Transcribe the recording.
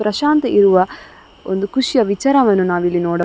ಪ್ರಶಾಂತ್ ಇರುವ ಒಂದು ಖುಷಿಯ ವಿಚಾರವನ್ನ ನಾವು ಇಲ್ಲಿ ನೋಡ --